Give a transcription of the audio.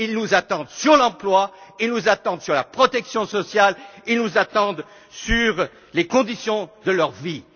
attendent? Ils nous attendent sur l'emploi, ils nous attendent sur la protection sociale, ils nous attendent sur leurs conditions